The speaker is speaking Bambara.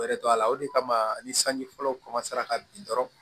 Yɛrɛ tɔ la o de kama ni sanji fɔlɔ ka bin dɔrɔn